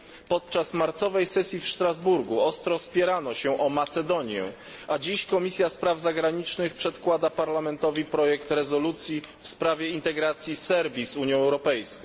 Podczas marcowej sesji w Strasburgu ostro spierano się o Macedonię, a dziś Komisja Spraw Zagranicznych przedkłada Parlamentowi projekt rezolucji w sprawie integracji Serbii z Unią Europejską.